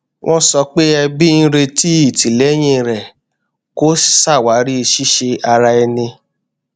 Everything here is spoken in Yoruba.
wọn sọ pé ẹbí ń retí ìtìlẹyìn rẹ kó ṣàwárí ṣíṣe ara ẹni